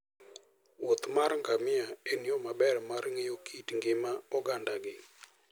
wuoth mar ngamia en yo maber mar ng'eyo kit ngima ogandagi.